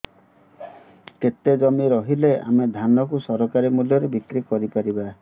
କେତେ ଜମି ରହିଲେ ଆମେ ଧାନ କୁ ସରକାରୀ ମୂଲ୍ଯରେ ବିକ୍ରି କରିପାରିବା